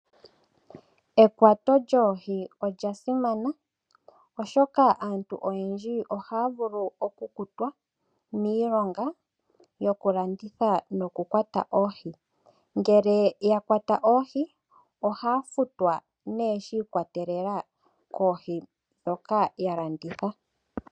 Ekwato djoohi odja simana, oshoka aantu oyendji ohaya vulu oku kutwa miilonga yoku landitha noku kwata oohi. Ngele ya kwata oohi, ohaya futwa nee shi ikwatelela koohi ndhoka ya landitha.